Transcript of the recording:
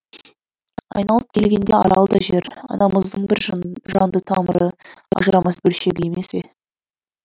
айналып келгенде арал да жер анамыздың бір жанды тамыры ажырамас бөлшегі емес пе